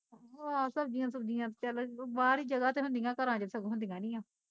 ਆਹ ਸਬਜ਼ੀਆਂ ਸੁਬਜ਼ੀਆਂ ਚੱਲ ਬਾਹਰ ਈ ਜਗਾ ਤੇ ਹੁੰਦੀਆਂ, ਘਰਾਂ ਚ ਸਗੋਂ ਹੁੰਦੀਆਂ ਨੀ ਆ